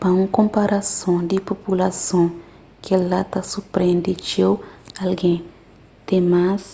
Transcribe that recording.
pa un konparason di populason kel-la ta surprende txeu algen ten más